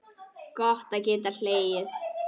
Gott að geta hlegið.